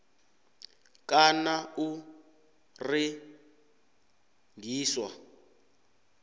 kana u rengiswa